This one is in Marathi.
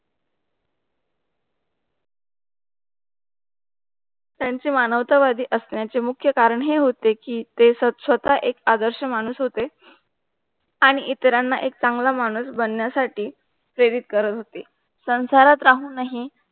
त्यांचे मानवता वादी असण्याचे मुख्य कारण हे होते की ते स्वतः एक आदर्श माणूस होते आणि इतरांना एक चांगल्या माणूस बनण्यासाठी ते प्रेरीत करत होते. संसारात राहून हि